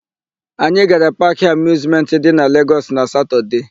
Anyị gara Paakị Amịuzmentị dị na Legọs na Satọdee.